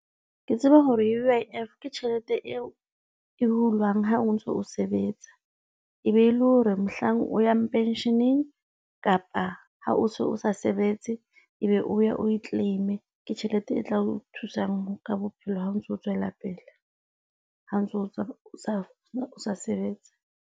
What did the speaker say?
Ke tseba hore U_I_F ke tjhelete eo e hulwang ha o ntso sebetsa e be e le hore mohlang o yang pension-eng kapa ha o so sa sebetse, ebe o ya o e claim-e ke tjhelete e tla o thusang ka bophelo. Ha o ntso tswela pele ha o ntso o sa sebetse.